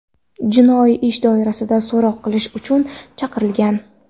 jinoiy ish doirasida so‘roq qilish uchun chaqirilgan.